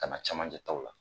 Ka na camanjɛ taw la